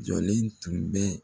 Jɔlen tun bɛ